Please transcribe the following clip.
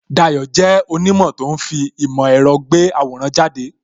Dayo jẹ́ onimo tó ń fi ìmò èrò gbé àwòrán jáde